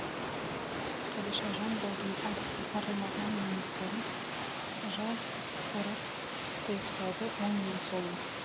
қадишажан болдым ар арылмаған мәңгі сорым жау орап тұйықталды оң мен солым